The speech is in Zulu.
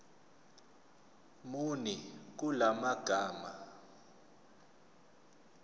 muni kula magama